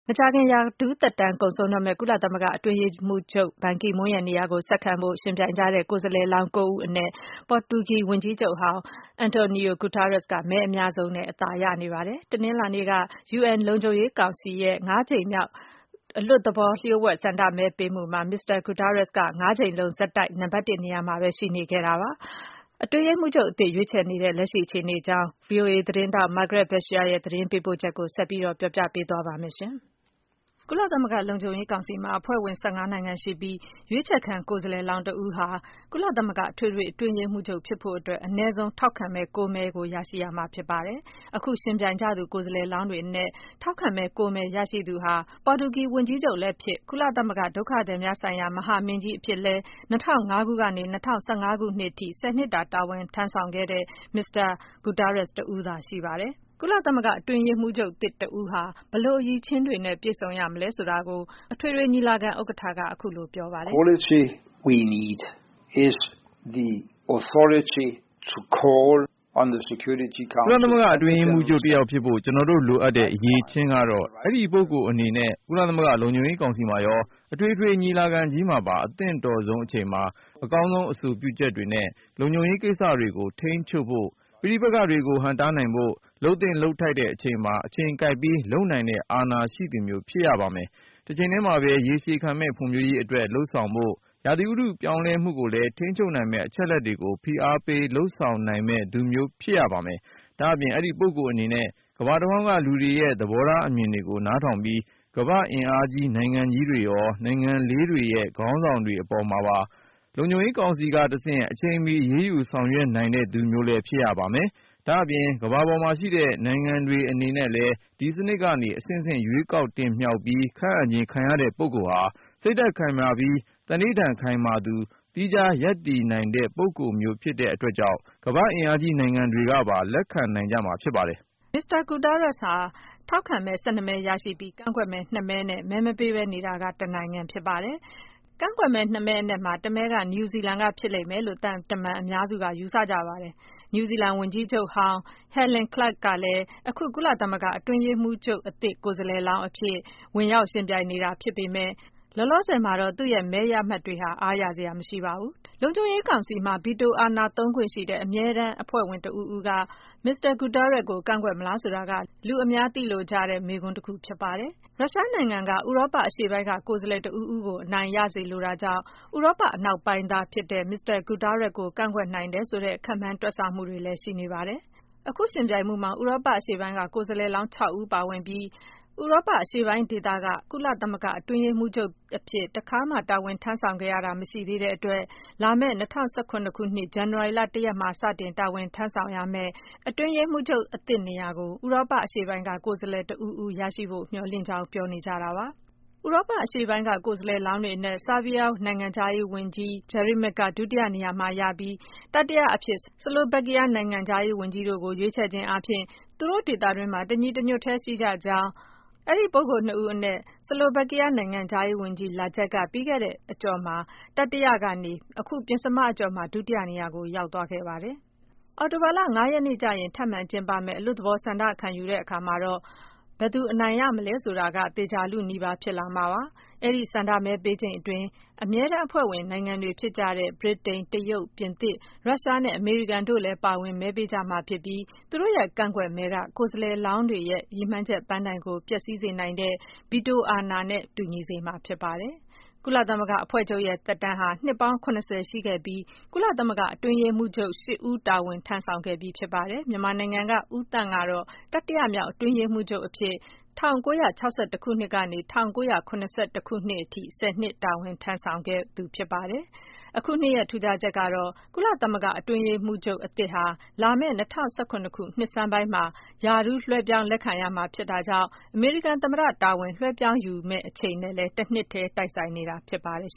မကြာခင်ရာထူးသက်တမ်းကုန်ဆုံးတော့မယ့် ကုလသမဂ္ဂ အတွင်းရေးမှူးချုပ်ဘန်ကီမွန်းရဲ့နေရာကို ဆက်ခံဖို့ ယှဉ်ပြိုင်ကြတဲ့ ကိုယ်စားလှယ် လောင်း ဦးအနက် ပေါ်တူဂီဝန်ကြီးချုပ်ဟောင်း Antonio Guterres က မဲအများဆုံးနဲ့ အသာရနေပါတယ်။ တနင်္လာနေ့က UN လုံခြုံရေး ကောင်စီရဲ့ ငါးကြိမ်မြောက် တရားဝင်မဟုတ်တဲ့ လျှို့ဝှက်ဆန္ဒမဲပေးမှုမှာ Guterres က ငါးကြိမ်လုံးဆက်တိုက် နံပါတ် ၁ နေရာမှာပဲ ရှိနေခဲ့တာပါ။ အတွင်းရေးမှူးချုပ်အသစ် ရွေးချယ်နေကြတဲ့ လက်ရှိအခြေအနေအကြောင်း ဗွီအိုအေသတင်းထောက် Margaret Besheer ရဲ့ သတင်းပေးပို့ချက်ကို မခွာညိုက ပြောပြပေးပါမယ်။ ကုလလုံခြုံရေးကောင်စီမှာ အဖွဲ့ဝင် ၁၅ နိုင်ငံရှိပြီး ရွေးချယ်ခံကိုယ်စားလှယ်လောင်းတဦးဟာ ကုလသမဂ္ဂအထွေထွေအတွင်းရေးမှူးချုပ် ဖြစ်ဖို့ အနည်းဆုံး ထောက်ခံမဲ မဲကို ရရှိရမှာ ဖြစ်ပါတယ်။ အခု ယှဉ်ပြိုင်ကြသူ ကိုယ်စားလှယ်လောင်းတွေအနက် ထောက်ခံမဲ မဲ ရရှိသူဟာ ပေါ်တူဂီဝန်ကြီးချုပ်လည်းဖြစ်၊ ကုလသမဂ္ဂ ဒုက္ခသည်များဆိုင်ရာ မဟာမင်းကြီးအဖြစ်လည်း ၂၀၀၅ ခုနှစ်ကနေ ၂၀၁၅ ခုနှစ်အထိ ဆယ်နှစ် တာ တာဝန်ထမ်းဆောင်ခဲ့တဲ့ မစ္စတာ Guterres တဦးတည်းသာရှိပါတယ်။ ကုလသမဂ္ဂအတွင်းရေးမှူးချုပ်တဦးဟာ ဘယ်လို အရည်အချင်းတွေ နဲ့ ပြည့်စုံရမလဲဆိုတာကို ၇၁ ကြိမ်မြောက် ကုလသမဂ္ဂ အထွေထွေညီလာခံဥက္ကဋ္ဌဟောင်း Mogens Lykketoft က အခုလို ပြောပါတယ်။ “ကုလသမဂ္ဂအတွင်းရေးမှူးချုပ်တယောက်ဖြစ်ဖို့ ကျနော်တို့ လိုအပ်တဲ့အရည်အချင်းကတော့ - အဲဒီ ပုဂ္ဂိုလ်အနေနဲ့ ကုလသမဂ္ဂလုံခြုံရေး ကောင်စီမှာရော အထွေထွေညီလာခံကြီးမှာပါ အသင့်တော်ဆုံးအချိန်မှာ အကောင်းဆုံးအဆိုပြုချက်တွေနဲ့ လုံခြုံရေးကိစ္စတွေကို ထိန်းချုပ်ဖို့၊ ပဋိပက္ခတွေကို ဟန့်တားနိုင်ဖို့၊ လုပ်သင့်လုပ်ထိုက်တဲ့အချိန်မှာ အချိန်ကိုက်ပြီး လုပ်နိုင်တဲ့အာဏာရှိသူမျိုး ဖြစ်ရပါမယ်။ တချိန်တည်းမှာပဲ ရေရှည်ခံမယ့်ဖွံ့ဖြိုးရေးအတွက် လုပ်ဆောင်ဖို့၊ ရာသီဥတုပြောင်းလဲမှုကိုလည်း ထိန်းချုပ်နိုင်မယ့် အချက်အလက်တွေကို ဖိအားပေးလုပ်ဆောင်နိုင်မယ့်သူမျိုး ဖြစ်ရပါမယ်။ ဒါ့အပြင် အဲဒီ ပုဂ္ဂိုလ်အနေနဲ ကမ္ဘာတဝန်းကလူတွေရဲ့ သဘောထားအမြင်တွေကို နားထောင်ပြီး ကမ္ဘာ့အင်အားကြီးနိုင်ငံကြီးတွေရော၊ နိုင်ငံငယ်လေးတွေရဲ့ ခေါင်းဆောင်တွေအပေါ်မှာပါ လုံခြုံရေးကောင်စီကတဆင့် အချိန်မီ အရေးယူဆောင်ရွက်နိုင်တဲ့သူမျိုးလည်း ဖြစ်ရပါမယ်။ ဒါ့အပြင် ကမ္ဘာပေါ်မှာရှိတဲ့နိုင်ငံတွေအနေနဲ့လည်း ဒီစနစ်ကနေ အဆင့်ဆင့် ရွေးကောက် တင်မြှောက်ပြီး ခန့်အပ်ခြင်းခံရတဲ့ပုဂ္ဂိုလ်ဟာ စိတ်ဓာတ်ခိုင်မာပြီး သံန္နိဌာန်ခိုင်မာသူ၊ သီးခြားရပ်တည်နိုင်တဲ့ပုဂ္ဂိုလ်မျိုးဖြစ်တဲ့အတွက်ကြောင့် ကမ္ဘာ့အင်အားကြီးနိုင်ငံတွေကပါ လက်ခံနိုင်ကြမှာဖြစ်ပါတယ်။” မစ္စတာ Guterres ဟာ ထောက်ခံမဲ ၁၂ မဲ ရရှိပြီး ကန့်ကွက်မဲနှစ်မဲနဲ့ မဲမပေးဘဲနေတာက တနိုင်ငံဖြစ်ပါတယ်။ကန့်ကွက်မဲနှစ်မဲအနက်မှာ တမဲက နယူးဇီလန်ကဖြစ်လိမ့်မယ်လို့ သံတမန်အများစုက ယူဆကြပါတယ်။ နယူးဇီလန်ဝန်ကြီးချုပ်ဟောင်း Helen Clark ကလည်း အခု ကုလသမဂ္ဂ အတွင်းရေးမှူးချုပ်အသစ် ကိုယ်စားလှယ်လောင်းအဖြစ် ဝင်ရောက်ယှဉ်ပြိုင်နေတာဖြစ်ပေမယ့် လောလောဆယ်မှာတော့ သူ့ရဲ့ မဲရမှတ်တွေက အားရစရာမရှိပါဘူး။ လုံခြုံရေးကောင်စီမှာ ဗီတိုအာဏာသုံးခွင့်ရှိတဲ့ အမြဲတမ်းအဖွဲ့ဝင်တဦး ဦးက မစ္စတာ ဂူတားရက်စ်ကို ကန့်ကွက်မလားဆိုတာက လူအများက သိလိုကြတဲ့ မေးခွန်းတခု ဖြစ်ပါတယ်။ ရုရှားနိုင်ငံက ဥရောပအရှေ့ပိုင်းက ကိုယ်စားလှယ်တဦးဦးကို အနိုင်ရစေလိုနေတာကြောင့် ဥရောပအနောက်ပိုင်းသားဖြစ်တဲ့ မစ္စတာ ဂူတားရက်စ်ကို ကန့်ကွက်နိုင်တယ် ဆိုတဲ့ ခန့်မှန်းတွက်ဆမှုတွေလည်း ရှိနေပါတယ်။ အခု ယှဉ်ပြိုင်မှုမှာ ဥရောပအရှေ့ပိုင်းက ကိုယ်စားလှယ်လောင်း ၆ ဦး ပါဝင်ပြီး ဥရောပအရှေ့ပိုင်းက အတွင်းတွင်းရေးမှူးချုပ်အဖြစ် တာဝန် ထမ်းဆောင်ခဲ့ရတာ မရှိသေးတဲ့အတွက် လာမယ့် ၂၀၁၇ ခုနှစ် ဇန်နဝါရီလ ၁ ရက်မှာ စတင်တာဝန်ထမ်းဆောင်ရမယ့် အတွင်းရေးမှူးချုပ် အသစ်နေရာကို ဥရောပအရှေ့ပိုင်းက ကိုယ်စားလှယ်တဦးဦးရရှိဖို့ မျှော်လင့်ကြောင်း ပြောနေကြတာပါ။ ဥရောပအရှေ့ပိုင်းက ကိုယ်စားလှယ်လောင်းတွေအနက် ဆာဘီးယားနိုင်ငံခြားရေးဝန်ကြီး Vuk Jeremic က ဒုတိယနေရာမှာရပြီး တတိယ အဖြစ် ဆလိုဗက်ကီးယား နိုင်ငံခြားရေး ဝန်ကြီး Miroslav Lajcek တို့ကို ရွေးချယ်ခြင်းအားဖြင့် သူတို့ဒေသတွင်းမှာ တညီတညွတ်တည်း ရှိကြကြောင်း အဲဒီပုဂ္ဂိုလ်နှစ်ဦးအနက် ဆလိုဗက်ကီးယားနိုင်ငံခြားရေးဝန်ကြီး Lajcek က ပြီးခဲ့တဲ့ အကျော့မှာ တတိယ ကနေ အခုပဉ္စမအကြော့မှာ ဒုတိယနေရာကို ရောက်သွားခဲ့ပါတယ်။ အောက်တိုဘာလ ရက်နေ့ကျရင် ထပ်မံကျင်းပမယ့် အလွတ်သဘော ဆန္ဒခံယူတဲ့အခါမှာတော့ ဘယ်သူ အနိုင်ရမလဲဆိုတာကို သေချာလုနီးပါး ဖြစ်လာမှာပါ။ အဲဒီ ဆန္ဒမဲပေးချိန်အတွင်း အမြဲတမ်းအဖွဲ့ဝင်နိုင်ငံတွေဖြစ်ကြတဲ့ ဗြိတိန်၊ တရုတ်၊ ပြင်သစ်၊ ရုရှားနဲ့ အမေရိကန် တို့လည်း ပါဝင်မဲပေးကြမှာဖြစ်ပြီး သူတို့ရဲ့ကန့်ကွက်မဲက ကိုယ်စားလှယ်လောင်းတွေရဲ့ ရည်မှန်းချက်ပန်းတိုင်ကို ပျက်စီးစေနိုင်တဲ့ ဗီတိုအာဏာနဲ့တူညီစေမှာ ဖြစ်ပါတယ်။ ကုလသမဂ္ဂအဖွဲ့ချုပ်ရဲ့သက်တမ်းဟာ နှစ်ပေါင်း ရှိခဲ့ပြီး ကုလသမဂ္ဂအတွင်းရေးမှူးချုပ် ဦး တာဝန်ထမ်းဆောင်ခဲ့ပြီးဖြစ်ပါတယ်။ မြန်မာနိုင်ငံကဦးသန့်ကတော့ တတိယမြောက် အတွင်းရေးမှူးချုပ်အဖြစ် ကနေ အထိ တာဝန်ထမ်းဆောင်ခဲ့ပါတယ်။ အခုနှစ်ရဲ့ ထူးခြားချက်ကတော့ ကုလသမဂ္ဂအတွင်းရေးမှူးချုပ်အသစ်ဟာ လာမယ့် ၂၀၁၇ ခုနှစ် နှစ်ဆန်းပိုင်းမှာ ရာထူးလွဲှပြောင်းလက်ခံရမှာ ဖြစ်တာကြောင့် အမေရိကန်သမ္မတ တာဝန်လွဲှပြောင်းယူရမယ့်အချိန်နဲ့ တနှစ်တည်း တိုက်ဆိုင်နေတာဖြစ်ပါတယ်